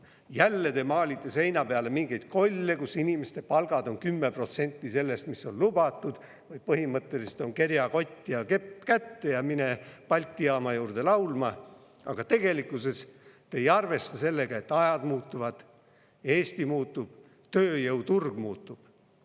Jälle te maalite seina peale mingeid kolle, et inimeste palgad on 10% sellest, mis on lubatud, või põhimõtteliselt kerjakott ja kepp kätte ja mine Balti jaama juurde laulma, aga tegelikkuses te ei arvesta sellega, et ajad muutuvad, Eesti muutub, tööjõuturg muutub.